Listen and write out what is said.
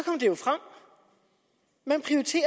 vil